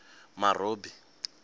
marobi